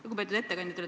Lugupeetud ettekandja!